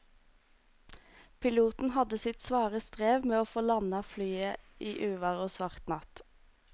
Piloten hadde sitt svare strev med å få landet flyet i uvær og svart natt.